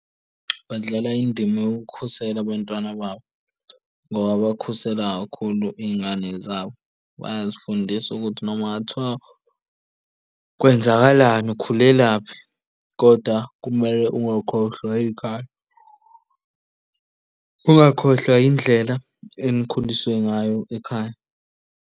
Badlala indima yokukhusela abantwana babo ngoba bakhusela kakhulu iy'ngane zabo, bayazifundisa ukuthi noma kungathiwa kwenzakalani, ukhulelaphi kodwa kumele ungakhohlwa ikhaya, ungakhohlwa indlela enikhuliswe ngayo ekhaya.